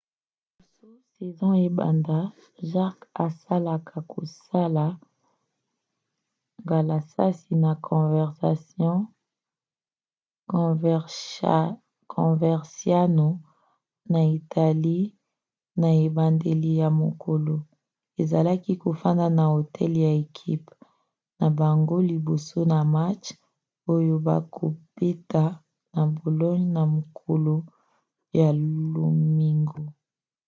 liboso saison ebanda jarque asalaka kosala ngalasisi na coverciano na italie na ebandeli ya mokolo. azalaki kofanda na hotel ya ekipe na bango liboso ya match oyo bakobeta na bologne na mokolo ya lomingo